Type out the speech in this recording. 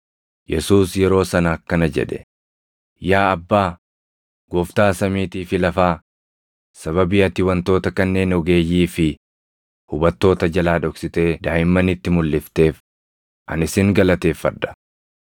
Yesuus yeroo sana akkana jedhe; “Yaa Abbaa, Gooftaa samiitii fi lafaa, sababii ati wantoota kanneen ogeeyyii fi hubattoota jalaa dhoksitee daaʼimmanitti mulʼifteef ani sin galateeffadha.